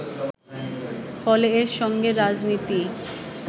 ফলে এর সঙ্গে রাজনীতি